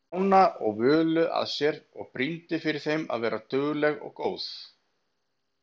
Stjána og Völu að sér og brýndi fyrir þeim að vera dugleg og góð.